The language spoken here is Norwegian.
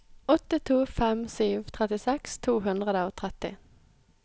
åtte to fem sju trettiseks to hundre og tretti